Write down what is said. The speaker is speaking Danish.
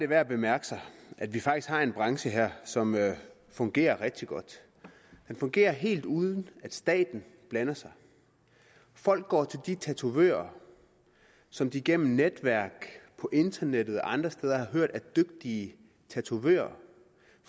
værd at bemærke at vi faktisk har en branche her som fungerer rigtig godt den fungerer helt uden at staten blander sig folk går til de tatovører som de gennem netværk på internettet og andre steder har hørt er dygtige tatovører